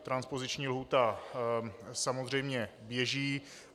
Transpoziční lhůta samozřejmě běží.